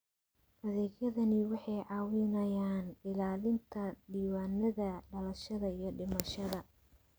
Adeegyadani waxay caawiyaan ilaalinta diiwaannada dhalashada iyo dhimashada.